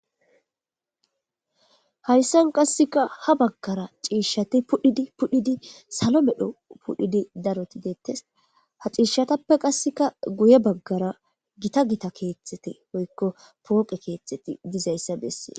Haysan qasikka Ha bagara cishati pudhidi pudhidi salon medho pudhidi daroti detese Ha cishatappe qasikka guye bagara Gita gita kethati woyko poqe ketheti Didaysa besese